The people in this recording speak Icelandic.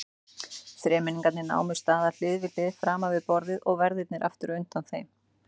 Þremenningarnir námu staðar hlið við hlið framan við borðið og verðirnir aftur undan þeim.